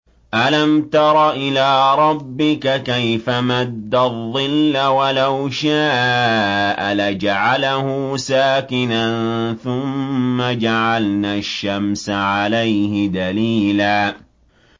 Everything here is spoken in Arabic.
أَلَمْ تَرَ إِلَىٰ رَبِّكَ كَيْفَ مَدَّ الظِّلَّ وَلَوْ شَاءَ لَجَعَلَهُ سَاكِنًا ثُمَّ جَعَلْنَا الشَّمْسَ عَلَيْهِ دَلِيلًا